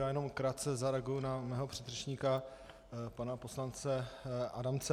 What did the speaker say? Já jenom krátce zareaguji na svého předřečníka pana poslance Adamce.